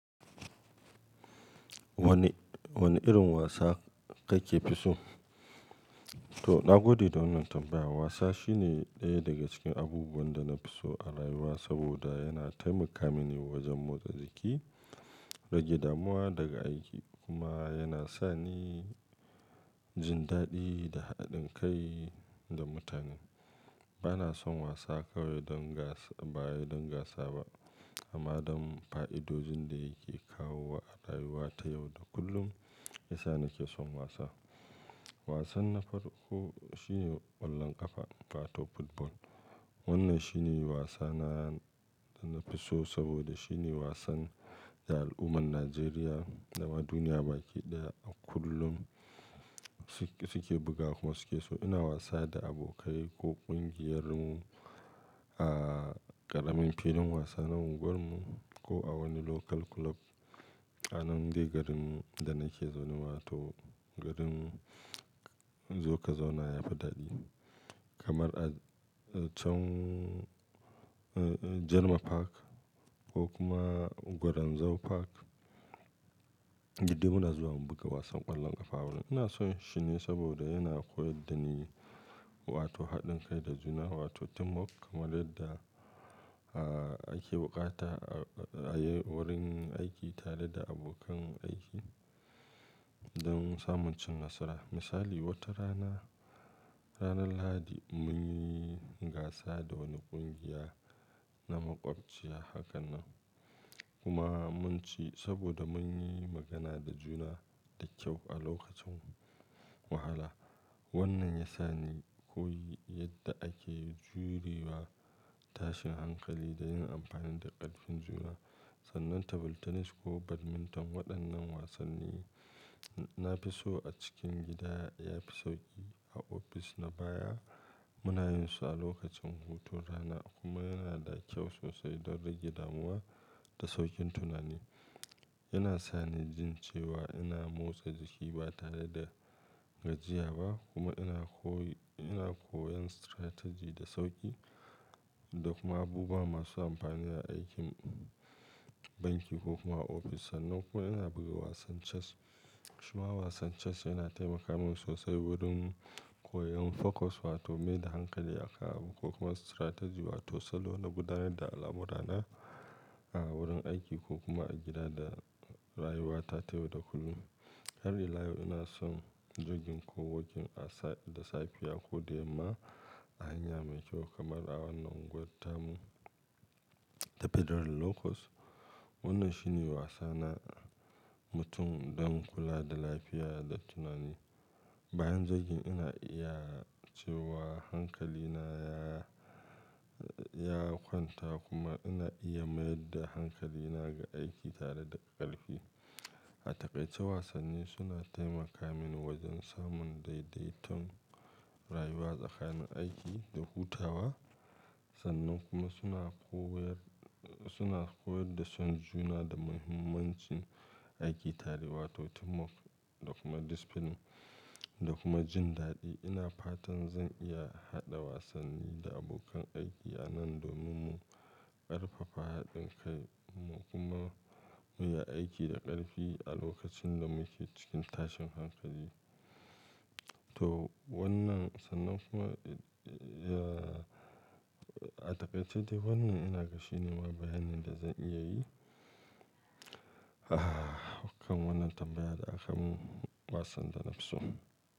Wane, wane irin wasa kake fi so? To, nagode da wannan tambaya. Wasa shine ɗaya daga cikin abubuwan da na fi so a rayuwa saboda yana taimaka mini wajen motsa jiki, rage damuwa daga aiki kuma yana sa ni jin daɗi da haɗin kai da mutane. Bana son wasa kawai don gasa, bawai don gasa ba amma don fa'idojin da yake kawo wa a rayuwa ta yau da kullum, shiyasa nake son wasa. Wasan na farko shine ƙwallon ƙafa, wato football. Wannan shine wasa na, da na fi so saboda shine wasan da al'ummar Najeriya da ma duniya baki ɗaya a kullum su, su ke buga kuma su ke so. Ina wasa da abokai ko ƙungiyarmu a ƙaramin filin wasa na unguwarmu ko a wani local club a nan dai garin da nake zaune wa to, garin zo ka zauna ya fi daɗi. Kamar a can German Park ko kuma Gwarin Zau Park, duk dai muna zuwa mu buga wasan ƙwallon ƙafa. Ina son shi ne saboda yana koyar da ni wato haɗin kai da juna wato teamwork kamar yadda a ake buƙata a wurin aiki tare da abokan aiki don samun cin nasara. Misali, wata rana, ranar Lahadi mun yi gasa da wani ƙungiya na makwabciya haka nan kuma mun ci saboda mun yi magana da juna da kyau a lokacin wahala. Wannan ya sa ni koyi yadda ake jurewa tashin hankali da yin amfani da ƙarfin juna. Sannan table tennis ko badminton waɗannan wasanni na fi so a cikin gida yafi sauƙi. A ofis na baya muna yin su a lokacin hutun rana kuma yana da kyau sosai don rage damuwa da sauƙin tunani. Yana sa ni jin cewa ina motsa jiki ba tare da gajiya ba kuma ina koyi, ina koyon strategy da sauƙi da kuma abubuwa masu amfani a aikin banki ko kuma a ofis. Sannan kuma ina buga wasan chess. Kuma wasan chess yana taimaka min sosai wurin koyon focus wato mai da hankali aka abu ko kuma strategy wato salo da gudanar da al'amura na a wurin aiki ko kuma a gida da rayuwata ta yau da kullum. Har ila yau ina son jogin ko wokin a da safiya ko da yamma a hanya mai kyau kamar a wannan unguwar Tamu ta Federal Locust. Wannan shine wasa na mutum don kula da lafiya da tunani. Bayan jogin ina iya cewa hankali na ya, ya kwanta kuma ina iya mayar da hankali na ga aiki tare da ƙarfi. A takaice wasanni suna taimaka mini wajen samun daidaiton rayuwa tsakanin aiki da hutawa. Sannan kuma suna koyar, suna koyar da son juna da muhimmancin aiki tare wato teamwork da kuma discipline da kuma jin daɗi. Ina fatan zan iya haɗa wasanni da abokan aiki a nan domin mu ƙarfafa haɗin kai mu kuma mu yi aiki da ƙarfi a lokacin da muke cikin tashin hankali. To wannan sannan kuma a takaice dai wannan ina ga shi ne ma bayanin da zan iya yi. Kan wannan tambayar da aka mun wasan da nafi so.